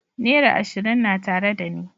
Naira ashirin na tare dani.